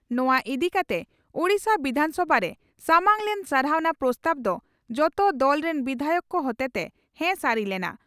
ᱱᱚᱣᱟ ᱤᱫᱤ ᱠᱟᱛᱮ ᱳᱰᱤᱥᱟ ᱵᱤᱫᱷᱟᱱᱥᱚᱵᱷᱟ ᱨᱮ ᱥᱟᱢᱟᱝ ᱞᱮᱱ 'ᱥᱟᱨᱦᱟᱣᱱᱟ ᱯᱨᱚᱥᱛᱟᱵᱽ' ᱫᱚ ᱡᱚᱛᱚ ᱫᱚᱞ ᱨᱤᱱ ᱵᱤᱫᱷᱟᱭᱚᱠ ᱠᱚ ᱦᱚᱛᱮᱛᱮ ᱦᱮᱸᱥᱟᱹᱨᱤ ᱞᱮᱱᱟ ᱾